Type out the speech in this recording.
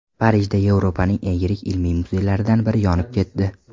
Parijda Yevropaning eng yirik ilmiy muzeylaridan biri yonib ketdi.